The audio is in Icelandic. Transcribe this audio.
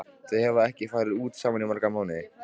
Þau hafa ekki farið út saman í marga mánuði.